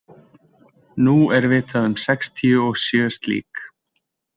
Nú er vitað um sextíu og sjö slík.